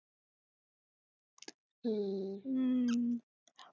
हम्म